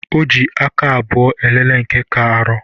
O ji aka abụọ elele nke ka arọ